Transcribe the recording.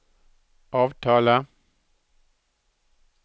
avtale